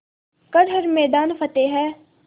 कर हर मैदान फ़तेह